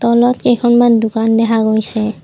তলত কেইখনমান দোকান দেখা গৈছে।